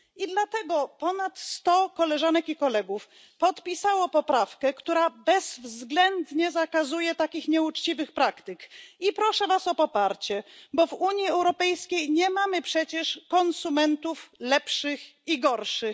Dlatego ponad sto koleżanek i kolegów podpisało poprawkę, która bezwzględnie zakazuje takich nieuczciwych praktyk, i proszę was o poparcie, bo w Unii Europejskiej nie mamy przecież konsumentów lepszych i gorszych.